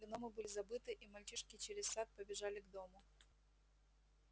гномы были забыты и мальчишки через сад побежали к дому